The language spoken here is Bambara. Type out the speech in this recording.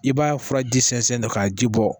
I b'a furaji sɛnsɛn na k'a ji bɔ